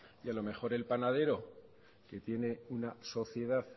y a lo mejor el panadero que tiene una sociedad